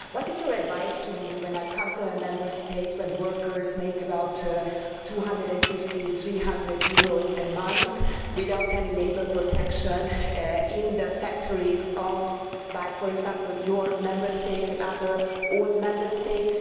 What is your advice to me if I come from a Member State where workers make about EUR 250 to 300 a month without any labour protection, in factories owned by, for example, your Member State and other old' Member States?